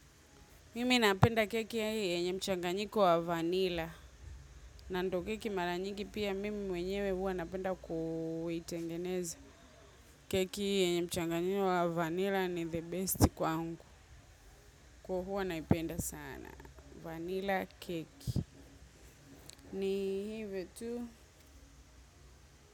Mimi napenda keki ya hii yenye mchanganyiko wa vanilla. Na ndo keki mara nyingi pia mimi mwenyewe huwa napenda kuitengeneza. Keki yenye mchanganyiko wa vanilla ni the best kwangu. Kwa huwa naipenda sana Vanilla keki ni hivyo tu.